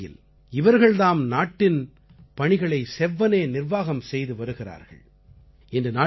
ஊரடங்கு வேளையில் இவர்கள் தாம் நாட்டின் பணிகளை செவ்வனே நிர்வாகம் செய்து வருகிறார்கள்